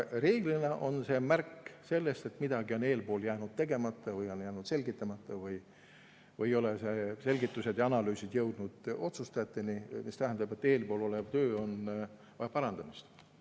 Reeglina on see märk sellest, et midagi on eespool jäänud tegemata või on jäänud selgitamata või ei ole selgitused ja analüüsid jõudnud otsustajateni, mis tähendab, et töö vajab parandamist.